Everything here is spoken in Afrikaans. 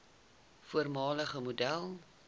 voormalige model